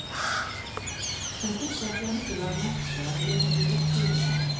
Sem þurfti ekki endilega að merkja að ég hefði rétt fyrir mér.